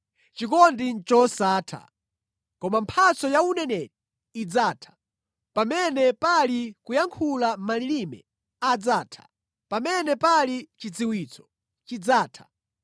Chikondi ndi chosatha. Koma mphatso ya uneneri idzatha, pamene pali kuyankhula malilime adzatha, pamene pali chidziwitso chidzatha.